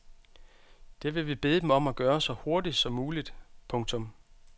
Det vil vi bede dem om at gøre så hurtigt som muligt. punktum